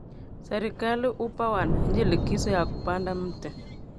Serikali hupa wananchi likizo ya kupanda mti